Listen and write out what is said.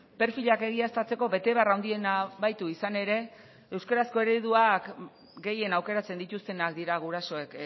perfilak egiaztatzeko betebehar handiena baitu izan ere euskerazko ereduak gehien aukeratzen dituztenak dira gurasoek